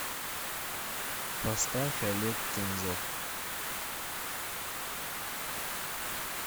поставь олег кензов